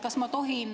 Kas ma tohin ...